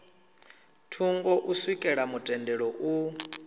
thungo u swikela mutendelo u